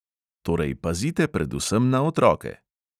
Torej, pazite predvsem na otroke!